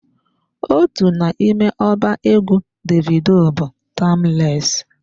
Otu n'ime ọba egwu Davido bụ "Timeless"